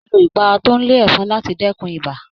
Máa lo ipara tó n le efọn láti dẹkùn ibà